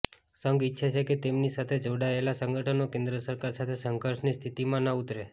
સંઘ ઇચ્છે છે કે તેમની સાથે જોડાયેલા સંગઠનો કેન્દ્ર સરકાર સાથે સંઘર્ષની સ્થિતીમાં ન ઉતરે